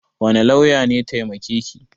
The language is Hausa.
Wane lauya ne taimake ki?